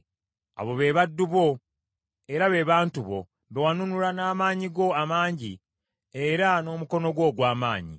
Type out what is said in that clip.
“Abo be baddu bo era be bantu bo be wanunula n’amaanyi go amangi era n’omukono gwo ogw’amaanyi.